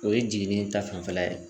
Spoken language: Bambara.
O ye jigini ta fanfɛla ye